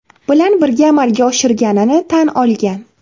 Bilan birga amalga oshirganini tan olgan.